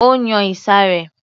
Ó yan ìsàré